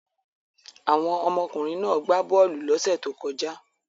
Àwọn ọmọkùnrin náà gbá bọ́ọ́lù lọ́sẹ̀ tó kọjá.